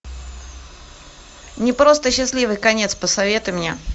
не просто счастливый конец посоветуй мне